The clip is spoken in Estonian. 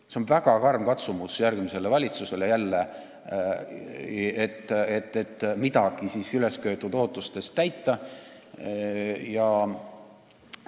See on väga karm katsumus järgmisele valitsusele, et ülesköetud ootustest midagi täita.